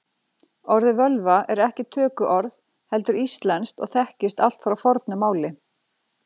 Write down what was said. Orðið völva er ekki tökuorð heldur íslenskt og þekkist allt frá fornu máli.